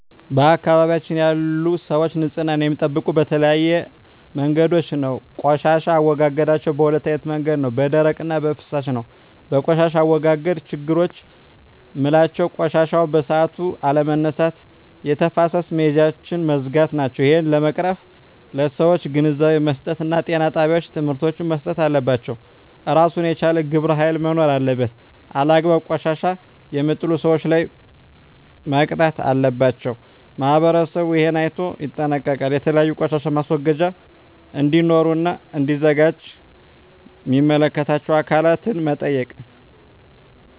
በአካባቢያችን ያሉ ሰዎች ንፅህና የሚጠብቁ በተለያዩ መንገዶች ነው ቆሻሻ አወጋገዳቸዉ በ2አይነት መንገድ ነው በደረቅ እና በፍሳሽ ነው በቆሻሻ አወጋገድ ችግሮች ምላቸው ቆሻሻዎችን በሠአቱ አለመነሳት የተፋሰስ መሄጃውች መዝጋት ናቸው እሄን ለመቅረፍ ለሠዎች ግንዛቤ መስጠት እና ጤና ጣቤዎች ትምህርቶች መሰጠት አለባቸው እራሱን የቻለ ግብረ ሀይል መኖር አለበት አላግባብ ቆሻሻ የሜጥሉ ሠዎች ላይ መቅጣት አለባቸው ማህበረሠቡ እሄን አይነቶ ይጠነቀቃሉ የተለያዩ ቆሻሻ ማስወገጃ እዴኖሩ እና እዲዘጋጁ ሚመለከታቸው አካላት መጠየቅ